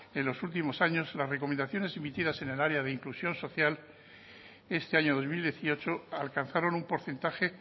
en los últimos años las recomendaciones emitidas en el área de inclusión social este año dos mil dieciocho alcanzaron un porcentaje